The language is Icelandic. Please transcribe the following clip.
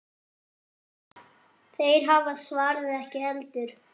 Þeir hafa svarið ekki heldur.